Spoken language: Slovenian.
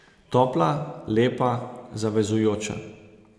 Topla, lepa, zavezujoča.